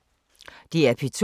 DR P2